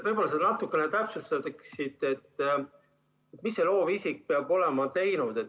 Võib-olla sa natukene täpsustaksid, mida see loovisik peab olema teinud.